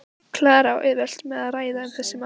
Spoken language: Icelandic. Klara á auðvelt með að ræða um þessi mál.